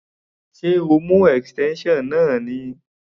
Ṣé o mú extension náà ni?